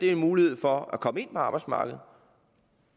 er en mulighed for at komme ind på arbejdsmarkedet